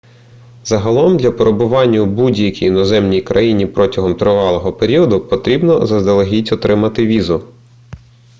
загалом для перебування у будь-якій іноземній країні протягом тривалого періоду потрібно заздалегідь отримати візу